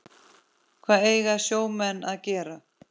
Hvað eiga sjómenn að gera?